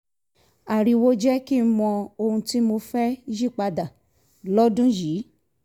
ariwo jẹ́ kí n mọ ohun tí mo fẹ́ yí pa dà lọ́dún yìí